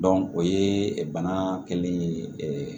o ye bana kɛlen ye